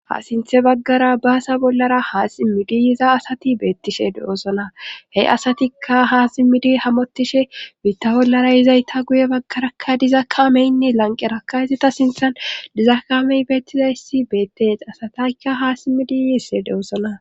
ha sinthe baggara baasa bollara haa simmidi yiza asati beettishe de7osona he asatikka haa simmidi hamotishebiitta bollara yizayta guye baggarakka diza kaameynne lanqerakka hizita sinthan diza kamey beettizayssi beettes asataykka haa simmidiyiisse de7osona